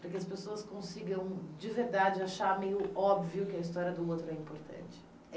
para que as pessoas consigam, de verdade, achar meio óbvio que a história do outro é importante.